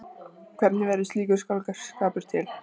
Hvernig verður slíkur skáldskapur til?